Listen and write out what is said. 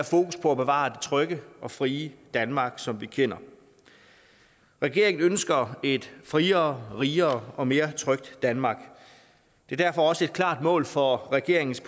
fokus på at bevare det trygge og frie danmark som vi kender regeringen ønsker et friere rigere og mere trygt danmark det er derfor også et klart mål for regeringens